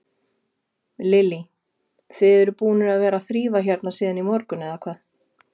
Lillý: Þið eruð búnir að vera að þrífa hérna síðan í morgun, eða hvað?